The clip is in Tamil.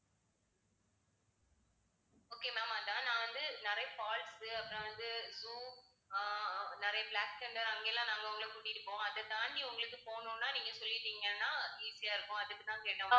okay ma'am அதான் நான் வந்து நிறைய falls உ அப்புறம் வந்து zoo ஆஹ் ஆஹ் நிறைய பிளாக் தண்டர் அங்க எல்லாம் நாங்க உங்களைக் கூட்டிட்டு போவோம். அதைத் தாண்டி உங்களுக்குப் போணும்னா நீங்கச் சொல்லிட்டீங்கன்னா easy ஆ இருக்கும் அதுக்குத்தான் கேட்டோம் ma'am